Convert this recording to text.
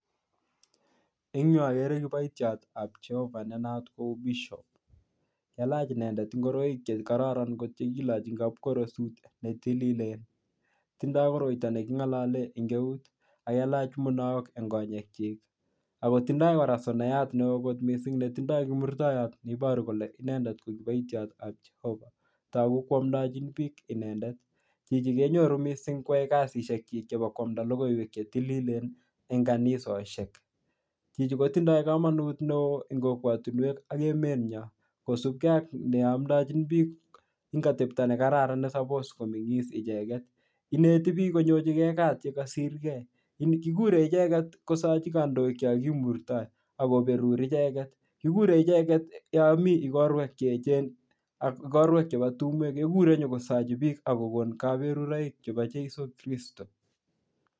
eng yuu ogere kipoitio tab jehova ne naat kou pishop kailach inendet igoroik che kokororon che kilochi en kapkoros netilil tindo koroito neking'ololen en eut o kailach munaok en konyekyik ako tindo kora sonayat neoo kot missing netindo kimurtoyot neiboru kole inendet ko kipoitiot tab jehova togu koamdechin biik inendet chichi kenyoruu missing koamda logoiwek che tililen en kanisoshek chichi kotindo komonut neoo en kokwotinuek ak emenyon kosubke ak neomdechin biik kosupkee ak atepto nekararan nenyolu komeng'is icheket ineti biik konyochigee kaat yekosirkee kikure icheket kosochi kondoik yoon kimurto ak koberur icheket kikure icheket yonmii ikorwek cheechen ak ikorwek chepo tumwek kekure inyokosochi ak kokon koberuroik chepo jeiso kwiristo